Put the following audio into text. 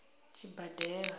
tshibadela